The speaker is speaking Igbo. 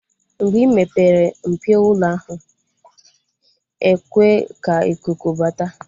Mgbe ị mepere mpio ụlọ ahụ, ekwe ka ikuku bata